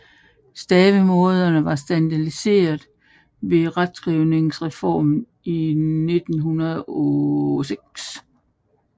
Stavemåderne var standardiset ved retskrivningsreformen i 1906